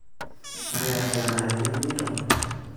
nakerai ena ekinikito